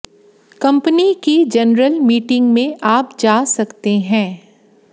company की general meeting में आप जा सकते हैं